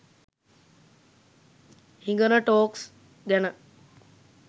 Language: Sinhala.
හිගන ටොක්ස් ගැන.